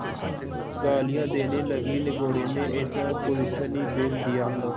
गालियाँ देने लगीनिगोडे़ ने ऐसा कुलच्छनी बैल दिया